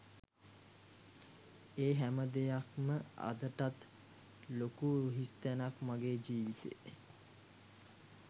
ඒ හැමදෙයක්ම අදටත් ලොකු හිස්තැනක් මගෙ ජීවිතේ